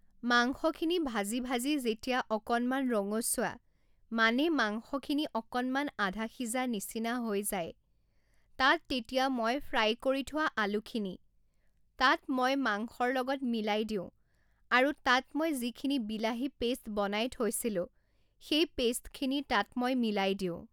মাংসখিনি ভাজি ভাজি যেতিয়া অকণমান ৰঙচুৱা মানে মাংসখিনি অকণমান আধা সিজা নিচিনা হৈ যায়, তাত তেতিয়া মই ফ্ৰাই কৰি থোৱা আলুখিনি, তাত মই মাংসৰ লগত মিলাই দিওঁ আৰু তাত মই যিখিনি বিলাহী পেষ্ট বনাই থৈছিলোঁ, সেই পেষ্টখিনি তাত মই মিলাই দিওঁ।